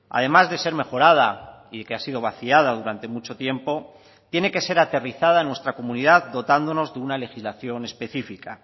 además de ser mejorada y que ha sido vaciada durante mucho tiempo tiene que ser aterrizada en nuestra comunidad dotándonos de una legislación específica